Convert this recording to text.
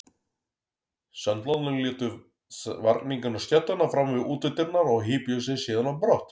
Sendlarnir létu varninginn á stéttina framan við útidyrnar og hypjuðu sig síðan á brott.